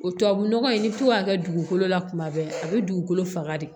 O tubabu nɔgɔ in i bi to k'a kɛ dugukolo la kuma bɛɛ a bɛ dugukolo faga de